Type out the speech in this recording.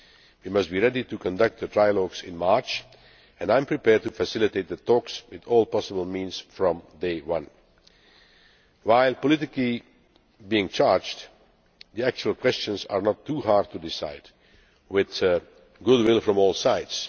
We must be ready to conduct the trilogues in March, and I am prepared to facilitate the talks with all possible means from day one. While being politically charged, the actual questions are not too hard to decide, with good will from all sides.